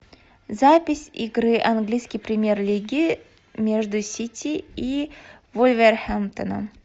запись игры английской премьер лиги между сити и вулверхэмптоном